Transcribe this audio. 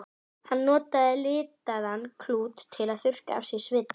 Hann notaði litaðan klút til að þurrka af sér svitann.